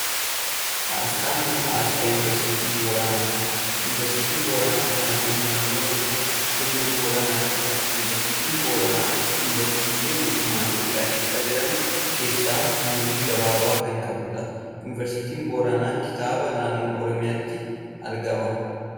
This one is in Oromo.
Asxaan kun asxaa yuunivarsiitii Booranaa dha. Yuunivarsiitiin Booranaa kan argamu naannoo Oromiyaa, godina Booranaatti dha. Yuunivarsiitiin Booranaa yuunivarsiitiilee mootummaa Itoophiyaa keessa jiran keessaa umurii gabaabaa kan qabuu dha. Yuunivarsiitiin Booranaa kibba naannoo Oromiyaatti argama.